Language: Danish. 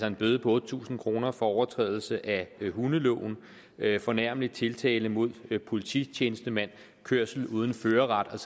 en bøde på otte tusind kroner for overtrædelse af hundeloven fornærmende tiltale mod polititjenestemand kørsel uden førerret